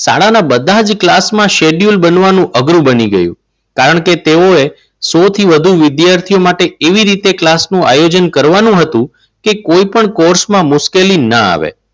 શાળાના બધા જ ક્લાસમાં shcedule બનવાનું અઘરું બની ગયું. કારણ કે તેઓએ સૌથી વધુ વિદ્યાર્થીઓ માટે એવી રીતે ક્લાસ નું આયોજન કરવાનું હતું કે કોઈ પણ કોર્સમાં મુશ્કેલી ન આવે.